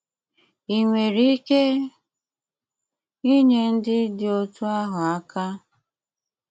Í nwéré íké ínyé ndí dị́ otú́ áhụ́ áká?